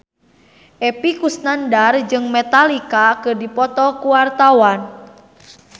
Epy Kusnandar jeung Metallica keur dipoto ku wartawan